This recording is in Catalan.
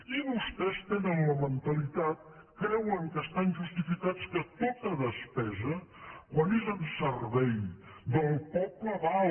i vostès tenen la mentalitat creuen que estan justificats que tota despesa quan és en servei del poble val